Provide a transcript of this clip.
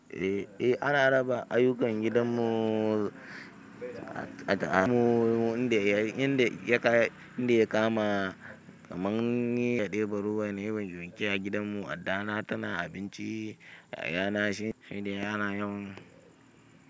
Eh, eh ana raba ayyukan gidan mu inda ya kama, kaman ni ya ɗeba ruwa na yi wanke wanke a gidan mu, addana tana abinci, yayana shi ne yana yin.